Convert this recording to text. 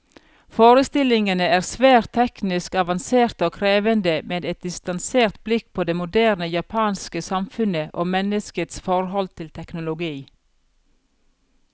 Forestillingene er svært teknisk avanserte og krevende, med et distansert blikk på det moderne japanske samfunnet, og menneskets forhold til teknologi.